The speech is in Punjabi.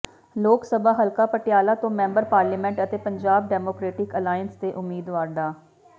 ਲੋਕ ਸਭਾ ਹਲਕਾ ਪਟਿਆਲਾ ਤੋਂ ਮੈਂਬਰ ਪਾਰਲੀਮੈਂਟ ਅਤੇ ਪੰਜਾਬ ਡੈਮੋਕਰੇਟਿਕ ਅਲਾਇੰਸ ਦੇ ਉਮੀਦਵਾਰ ਡਾ